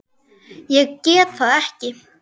Ég get það ekki